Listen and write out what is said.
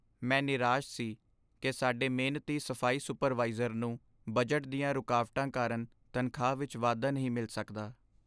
ਮੈਂ ਨਿਰਾਸ਼ ਸੀ ਕਿ ਸਾਡੇ ਮਿਹਨਤੀ ਸਫ਼ਾਈ ਸੁਪਰਵਾਈਜ਼ਰ ਨੂੰ ਬਜਟ ਦੀਆਂ ਰੁਕਾਵਟਾਂ ਕਾਰਨ ਤਨਖਾਹ ਵਿੱਚ ਵਾਧਾ ਨਹੀਂ ਮਿਲ ਸਕਦਾ।